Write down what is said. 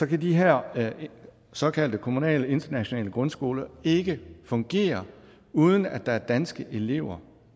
kan de her såkaldte kommunale internationale grundskoler ikke fungere uden at der er danske elever